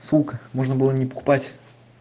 сумка можно было не покупать